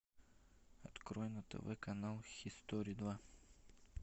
открой на тв канал хистори два